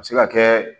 A bɛ se ka kɛ